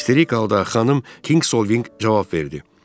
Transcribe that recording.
İsterik halda xanım Kingsolving cavab verdi.